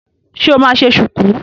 Ṣe o máa ṣe ṣùkú?